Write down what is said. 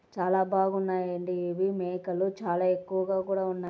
చాలా బాగున్నాయండి ఇవి మేకలు చాలా ఎక్కువగా కూడా ఉన్నాయి.